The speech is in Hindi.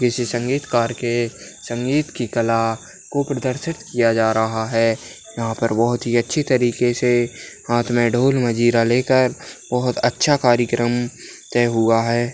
किसी संगीतकार के संगीत की कला को प्रदर्शित किया जा रहा है यहां पर बहुत ही अच्छी तरीके से हाथ में ढोल मंजीरा लेकर बहोत अच्छा कार्यक्रम तय हुआ है।